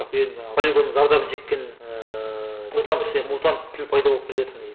полигонның зардабын шеккен ыыы мутант мутант тіл пайда болып келе жатыр негізі